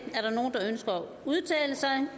udtale sig da